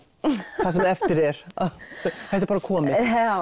það sem eftir er þetta er bara komið